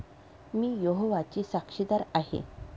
मी यहोवाची साक्षीदार आहे.